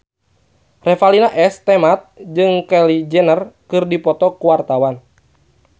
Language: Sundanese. Revalina S. Temat jeung Kylie Jenner keur dipoto ku wartawan